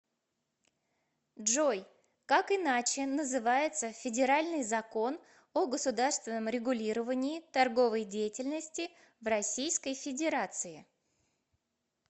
джой как иначе называется федеральный закон о государственном регулировании торговой деятельности в российской федерации